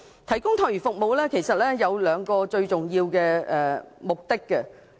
提供託兒服務其實有兩個最重要目的。